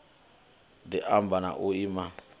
di ama na u iman